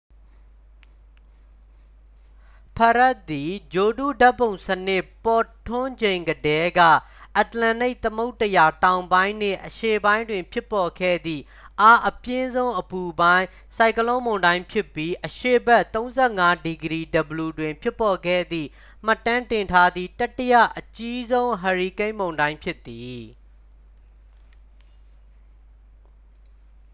ဖရက်ဒ် သည် ဂြိုလ်တုဓာတ်ပုံစနစ် ပေါ်ထွန်းချိန်ကတည်းက အတ္တလန္တိတ်သမုဒ္ဒရာ တောင်ပိုင်းနှင့် အရှေ့ပိုင်းတွင် ဖြစ်ပေါ်ခဲ့သည့် အားအပြင်းဆုံး အပူပိုင်း ဆိုင်ကလုန်းမုန်တိုင်းဖြစ်ပြီး အရှေ့ဘက် ၃၅°w တွင် ဖြစ်ပေါ်ခဲ့သည့် မှတ်တမ်းတင်ထားသည့် တတိယအကြီးဆုံး ဟာရီကိန်းမုန်တိုင်း ဖြစ်သည်။